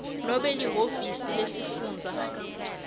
nobe lihhovisi lesifundza